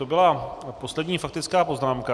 To bylo poslední faktická poznámka.